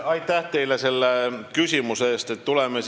Aitäh teile selle küsimuse eest!